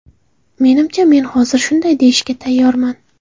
Menimcha men hozir shunday deyishga tayyorman.